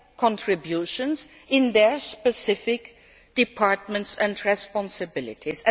contributions in their specific departments and responsibilities.